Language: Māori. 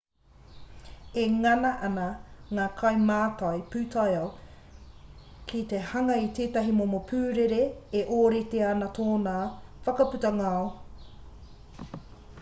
e ngana ana ngā kaimātai pūtaiao ki te hanga i tētahi momo pūrere e ōrite ana tōna whakaputa ngao